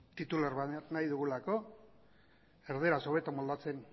titular bat nahi dugulako erdaraz hobeto moldatzen